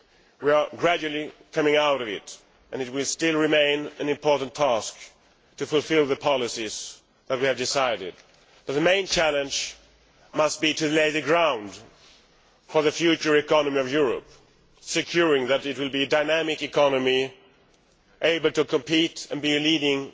We are gradually coming out of it and, although it will still be an important task to fulfil the policies that we have decided, the main challenge must be to prepare the ground for the future economy of Europe, to ensure that it will be a dynamic economy able to compete and play a leading